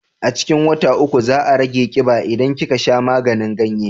A cikin wata uku za a rage kiba idan kika sha maganin ganye